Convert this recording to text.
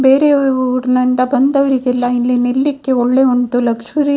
ಬೇರೆ ಊರಿಂದ ಬಂದವರಿಗೆಲ್ಲ ಇಲ್ಲಿ ನಿಲ್ಲ್‌ಲಿಕ್ಕೆ ಒಳ್ಳೆ ಉಂಟು ಲಕ್ಷುರಿ --